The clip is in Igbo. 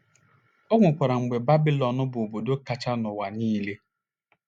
O nwekwara mgbe Babịlọn bụ obodo kachanụ n’ụwa niile.